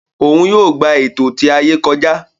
Òún yóò gbà ẹtọ ti ayé kọjá